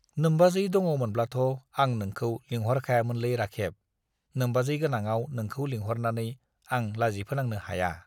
नोम्बाजै दङमोनब्लाथ' आं नोंखौ लिंहरखायामोनलै राखेब, नोम्बाजै गोनांआव नोंखौ लिंहरनानै आं लाजिफोनांनो हाया।